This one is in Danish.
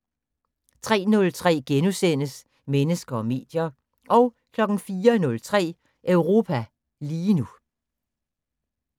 03:03: Mennesker og medier * 04:03: Europa lige nu